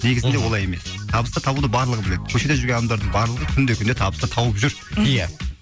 негізінде олай емес табысты табуды барлығы біледі көшеде жүрген адамдардың барлығы күнде күнде табысты тауып жүр ия